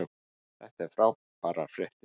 Þetta eru frábærar fréttir.